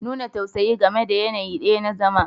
Nuna tausayi game da yanayi ɗaya na zama